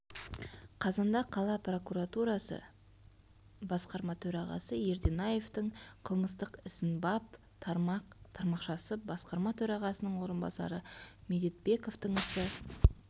қазанда қала прокуратурасы басқарма төрағасы ерденаевтың қылмыстық ісін бап тармақ тармақшасы басқарма төрағасының орынбасары медетбековтың ісі